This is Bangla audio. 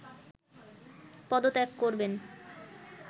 পদত্যাগ করবেন